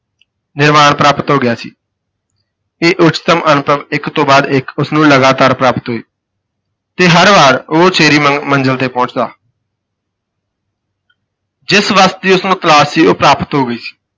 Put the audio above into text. ਨਿਰਵਾਣ ਪ੍ਰਾਪਤ ਹੋ ਗਿਆ ਸੀ ਇਹ ਉਚਤਮ ਅਨੁਭਵ ਇਕ ਤੋਂ ਬਾਅਦ ਇਕ, ਉਸ ਨੂੰ ਲਗਾਤਾਰ ਪ੍ਰਾਪਤ ਹੋਏ ਤੇ ਹਰ ਵਾਰ ਉਹ ਉਚੇਰੀ ਮ ਮੰਜ਼ਿਲ ਤੇ ਪਹੁੰਚਦਾ ਜਿਸ ਵਸਤ ਦੀ ਉਸ ਨੂੰ ਤਲਾਸ਼ ਸੀ ਉਹ ਪ੍ਰਾਪਤ ਹੋ ਗਈ ਸੀ।